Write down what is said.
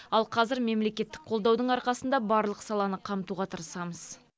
ал қазір мемлекеттік қолдаудың арқасында барлық саланы қамтуға тырысамыз